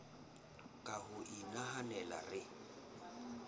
ka ho o nahanela re